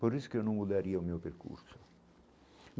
Por isso que eu não mudaria o meu percurso.